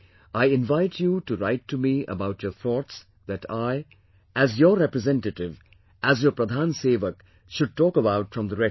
I invite you to write to me about your thoughts that I, as your representative, as your Pradhan Sevak should talk about from the Red Fort